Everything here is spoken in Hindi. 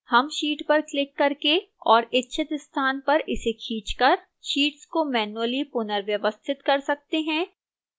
हम sheet पर क्लिक करके और इच्छित स्थान पर इस खींच कर sheets को मैन्युअली पुनर्व्यवस्थित कर सकते हैं